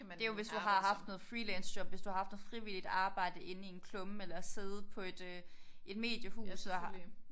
Det jo hvis du har haft noget freelance job hvis du har haft noget frivilligt arbejde inden i en klumme eller siddet på et øh et mediehus og har